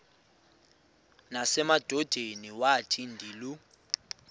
nasemadodeni wathi ndilu